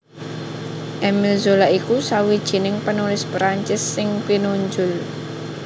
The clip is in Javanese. Émile Zola iku sawijining penulis Prancis sing pinunjul